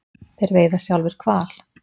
Þeir veiða sjálfir hval.